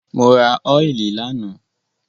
Mo ra óìlì lánàá.